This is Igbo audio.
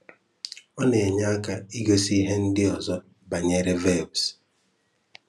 Ọ na-enye aka ịgosị ihe ndị ọzọ banyere verbs.